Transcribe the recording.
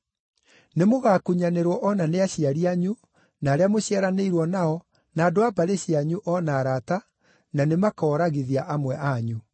Nĩmũgakunyanĩrwo o na nĩ aciari anyu, na arĩa mũciaranĩirwo nao, na andũ a mbarĩ cianyu, o na arata, na nĩmakooragithia amwe anyu.